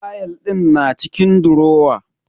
Fayal din na cikin durowa.